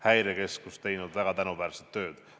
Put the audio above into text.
Häirekeskus teinud väga tänuväärset tööd.